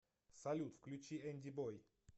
салют включи энди бой